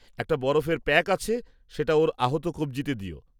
একটা বরফের প্যাক আছে, সেটা ওর আহত কবজিতে দিও।